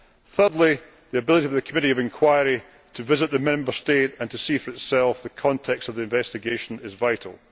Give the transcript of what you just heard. Thirdly, the ability of a committee of inquiry to visit the Member State and to see for itself the context of the investigation is vital.